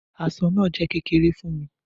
Aṣọ naa jẹ kekere fun mi.